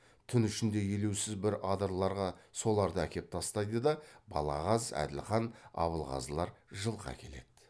түн ішінде елеусіз бір адырларға соларды әкеп тастайды да балағаз әділхан абылғазылар жылқы әкеледі